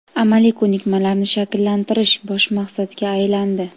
amaliy ko‘nikmalarni shakllantirish bosh maqsadga aylandi.